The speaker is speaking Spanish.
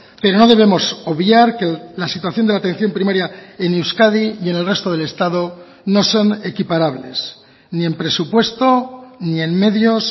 pero no debemos obviar que la situación de la atención primaria en euskadi y en el resto del estado no son equiparables ni en presupuesto ni en medios